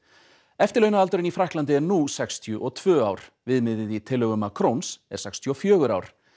eftirlaunaaldurinn í Frakklandi er nú sextíu og tvö ár viðmiðið í tillögum Macrons er sextíu og fjögur ár